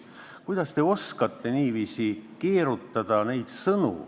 Kuidas te oskate niiviisi sõnu keerutada?